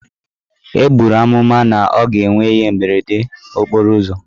E buru amụma na ọ ga-enwe ihe mberede okporo ụzọ.